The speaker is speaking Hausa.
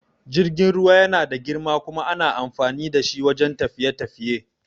Jirgin ruwa yana da girma kuma ana amfani da shi wajan tafiye-tafiye